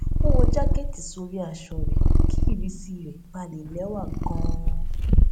ó wọ jákẹẹtì sórí aṣọ rẹ kí ìrísí rẹ ba lè lẹwà ganan